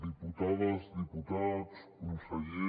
diputades diputats conseller